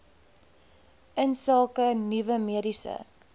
insake nuwe mediese